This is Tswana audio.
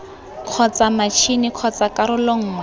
kgotsa matšhini kgotsa karolo nngwe